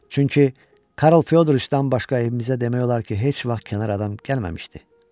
Çünki Karl Fyodroviçdən başqa evimizə demək olar ki, heç vaxt kənar adam gəlməmişdi.